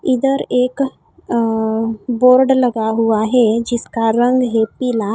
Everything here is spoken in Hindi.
इधर एक अ बोर्ड लगा हुआ है जिसका रंग है पीला।